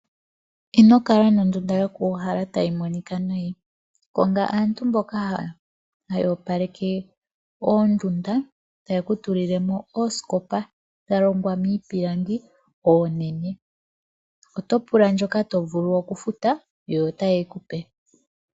Ino kala nondunda yoku uhala tayi monika nayi konga aantu mboka haya opaleke oondunda yeku tulile mo oosikopa dha longwa miipilangi oonene, oto pula ndjoka to vulu oku futa na otaye yi kupe.